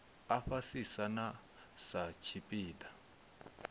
a fhasisa na sa tshipiḓa